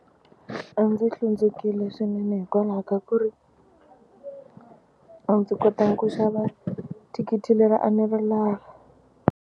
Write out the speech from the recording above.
A ndzi hlundzukile swinene hikwalaho ka ku ri a ndzi kotanga ku xava thikithi leri a ndzi ri lava.